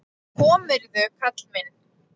En komirðu, karl minn!